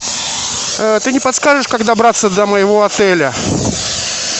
ты не подскажешь как добраться до моего отеля